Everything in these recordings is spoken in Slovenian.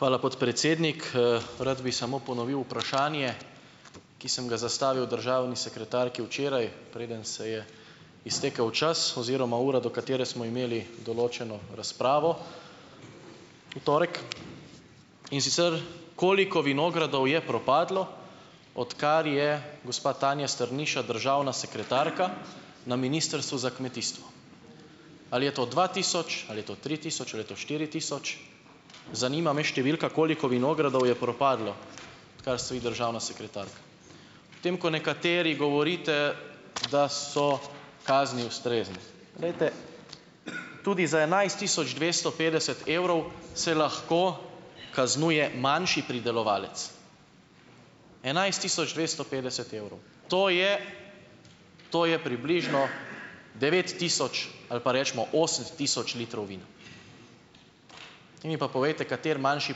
Hvala, podpredsednik. Rad bi samo ponovil vprašanje, ki sem ga zastavil državni sekretarki včeraj, preden se je iztekel čas oziroma ura, do katere smo imeli določeno razpravo v torek. In sicer: Koliko vinogradov je propadlo, odkar je gospa Tanja Strniša državna sekretarka na Ministrstvu za kmetijstvo? Ali je to dva tisoč ali je to tri tisoč ali je to štiri tisoč, zanima me številka, koliko vinogradov je propadlo, odkar ste vi državna sekretarka. Ob tem, ko nekateri govorite, da so kazni ustrezne. Glejte, tudi z enajst tisoč dvesto petdeset evrov se lahko kaznuje manjši pridelovalec. Enajst tisoč dvesto petdeset evrov! To je to je približno devet tisoč ali pa, recimo, osem tisoč litrov vina. Zdaj mi pa povejte, kateri manjši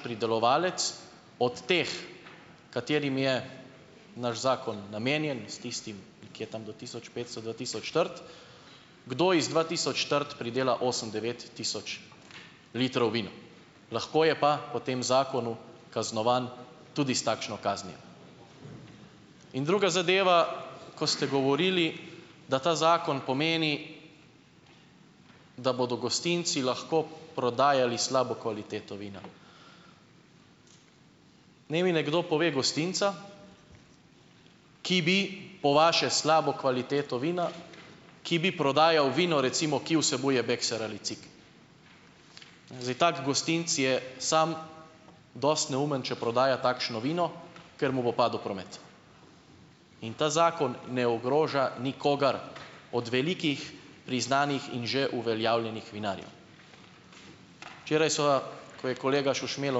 pridelovalec od teh, katerim je naš zakon namenjen, s tistim, ki je tam do tisoč petsto, dva tisoč trt, kdo iz dva tisoč trt pridela osem, devet tisoč litrov vina, lahko je pa po tem zakonu kaznovan tudi s takšno kaznijo. In druga zadeva, ko ste govorili, da ta zakon pomeni, da bodo gostinci lahko prodajali slabo kvaliteto vina. Naj mi nekdo pove gostinca, ki bi, po vaše, slabo kvaliteto vina, ki bi prodajal vino recimo, ki vsebuje, bekser ali cik; zdaj tak gostinec je sam dosti neumen, če prodaja takšno vino, ker mu bo padel promet. In ta zakon ne ogroža nikogar od velikih, priznanih in že uveljavljenih vinarjev. Včeraj seveda, ko je kolega Šušmelj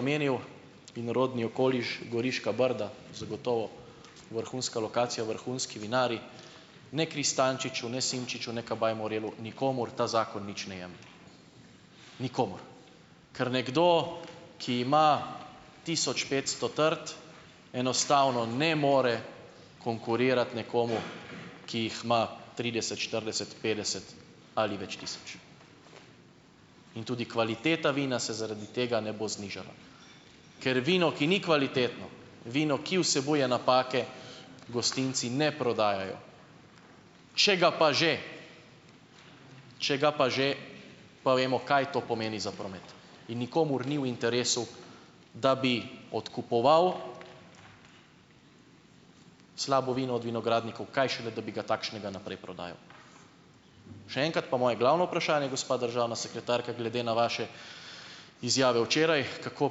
omenil vinorodni okoliš Goriška brda, zagotovo vrhunska lokacija, vrhunski vinarji - ne Kristančiču ne Simčiču ne Kabaj Morelu, nikomur ta zakon nič ne jemlje. Nikomur. Ker nekdo, ki ima tisoč petsto trt, enostavno ne more konkurirati nekomu, ki jih ima trideset, štirideset, petdeset ali več tisoč. In tudi kvaliteta vina se zaradi tega ne bo znižala. Ker vino, ki ni kvalitetno, vino, ki vsebuje napake, gostinci ne prodajajo. Če ga pa že, če ga pa že, pa vemo, kaj to pomeni za promet. In nikomur ni v interesu, da bi odkupoval slabo vino od vinogradnikov, kaj šele da bi ga takšnega naprej prodajal. Še enkrat pa moje glavno vprašanje, gospa državna sekretarka, glede na vaše izjave včeraj, kako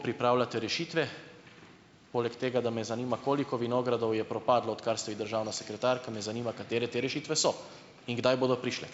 pripravljate rešitve, poleg tega, da me zanima, koliko vinogradov je propadlo, odkar ste vi državna sekretarka, me zanima, katere te rešitve so in kdaj bodo prišle.